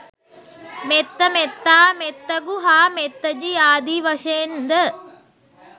මෙත්ත, මෙත්තා, මෙත්තගු හා මෙත්තජි ආදී වශයෙන් ද